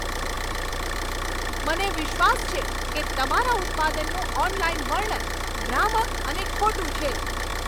મને વિશ્વાસ છે કે તમારા ઉત્પાદનનું ઓનલાઈન વર્ણન ભ્રામક અને ખોટું છે.